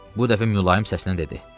Bu dəfə mülayim səslə dedi: